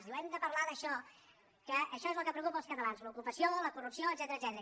diu hem de parlar d’això que això és el que preocupa els catalans l’ocupació la corrupció etcètera